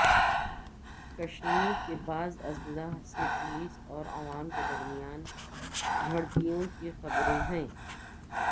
کشمیر کے بعض اضلاع سے پولیس اور عوام کے درمیان جھڑپوں کی خبریں ہیں